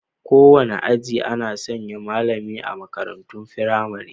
Kowane aji ana sanya malami a makarantun firamare.